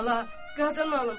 Bala, qadan alım.